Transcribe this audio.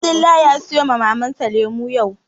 Abdullahi ya sayo wa Mamar sa lemu yau